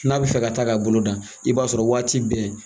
N'a bɛ fɛ ka taa ka bolo dan i b'a sɔrɔ waati bɛɛ